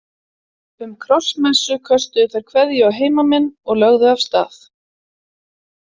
Um krossmessu köstuðu þær kveðju á heimamenn og lögðu af stað.